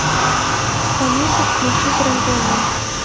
алиса включить рен тв